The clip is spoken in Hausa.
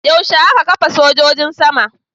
Yaushe aka kafa sojojin sama?